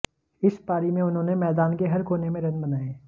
इस पारी में उन्होंने मैदान के हर कोने में रन बनाए